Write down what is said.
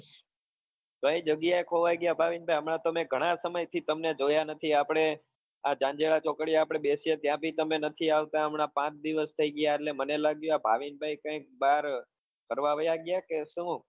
કઈ જગ્યા એ ખોવાઈ ગયા ભાવિન ભાઈ હમણા તમે ગણા સમય થી તમને જોયા નથી આપડે આ જાન્જેરા ચોકડી એ આપડે બેસીએ ત્યાં બી તમે નથી આવતા હમણાં પાંચ દિવસ થઈ ગયા એટલે મને લાગ્યું આ ભાવિન ભાઈ કઈકબાર ફરવા વયા ગયા કે શું?